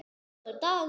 Góður dagur!